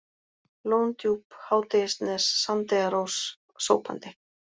Lóndjúp, Hádegisnes, Sandeyrarós, Sópandi